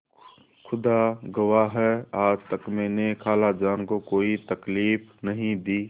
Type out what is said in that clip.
खुदा गवाह है आज तक मैंने खालाजान को कोई तकलीफ नहीं दी